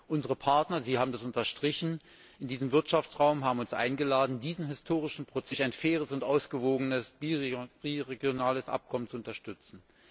Unsere Partner Sie haben das unterstrichen in diesem Wirtschaftsraum haben uns eingeladen, diesen historischen Prozess durch ein faires und ausgewogenes biregionales Abkommen zu unterstützen.